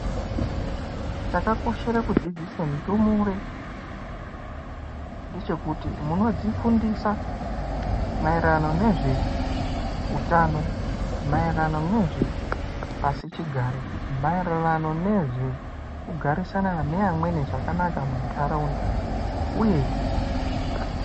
Chakakoshere kudzidzise ndumure ngechekuti munodzifundisa maererano nezve utano maererano nezve pasi chigare maererano nezve kugarisana zvakanaka nevamweni muntaraunda uye.